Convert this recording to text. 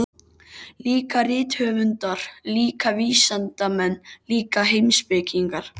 Líka rithöfundar, líka vísindamenn, líka heimspekingar.